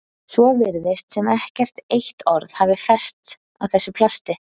Svo virðist sem ekkert eitt orð hafi fest á þessu plasti.